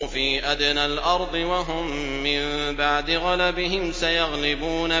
فِي أَدْنَى الْأَرْضِ وَهُم مِّن بَعْدِ غَلَبِهِمْ سَيَغْلِبُونَ